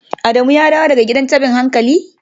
Adamu ya dawo daga gidan tabin hankali?